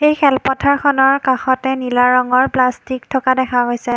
এই খেলপথাৰখনৰ কাষতে নীলা ৰঙৰ প্লাষ্টিক থকা দেখা হৈছে।